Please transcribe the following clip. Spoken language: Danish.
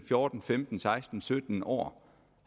fjorten femten seksten sytten år